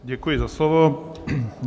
Děkuji za slovo.